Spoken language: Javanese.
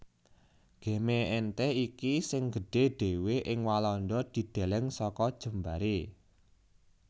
Gemeente iki sing gedhé dhéwé ing Walanda dideleng saka jembaré